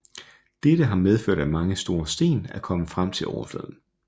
Dette har medført at mange store sten er kommet frem til overfladen